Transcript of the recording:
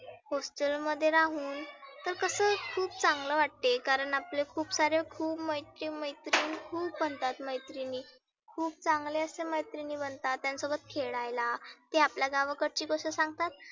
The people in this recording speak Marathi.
hostel मध्ये राहुन तर कसं खुप चांगलं वाटते. कारण आपले खुप सारे खुप मैत्री मैत्रीन खुप बनतात मैत्रीनी. खुप चांगल्या अश्या मैत्रीनी बनतात. त्यांच्या सोबत खेळायला ते आपल्या गावाकडची गोष्ट सांगतात